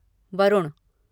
Varun